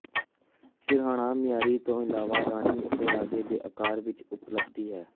ਸਿਰਹਾਣਾ ਮਿਆਰੀ ਤੋਂ ਇਲਾਵਾ ਰਾਣੀ ਅਤੇ ਰਾਜੇ ਦੇ ਅਕਾਰ ਵਿੱਚ ਉਪਲਬਧ ਹੈ